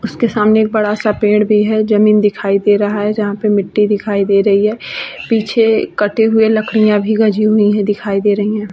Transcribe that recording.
उस के सामने एक बड़ा-सा पेड़ भी है | जमीन दिखाई दे रहा है जहां पे मिट्टी दिखाई दे रही है | पीछे कटी हुई लकडियां भी गजी हुई हैं दिखाई दे रही है |